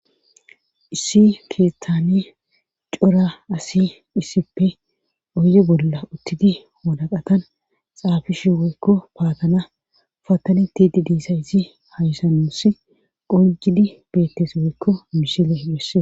issi keeththani cora asi issippe oyye bolla uttidi walaqatan xaafishi woykko paatana fatani tidi diissa izi haysanossi qonjidi beettes woykko mishile hibesse